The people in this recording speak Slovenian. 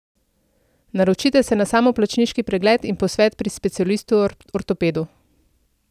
Naročite se na samoplačniški pregled in posvet pri specialistu ortopedu.